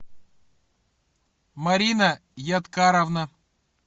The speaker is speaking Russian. марина яткаровна